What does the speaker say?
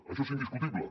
això és indiscutible